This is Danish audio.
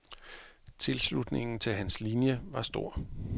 Tilslutningen til hans linie var stor.